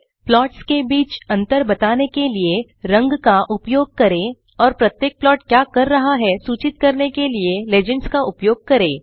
plots के बीच अंतर बताने के लिए रंग का उपयोग करें और प्रत्येक प्लाट क्या कर रहा है सुचित करने के लिए लीजेंड्स का उपयोग करें